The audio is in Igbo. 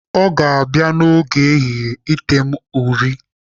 Ọ ga-abịa n'oge ehihie ete m uri.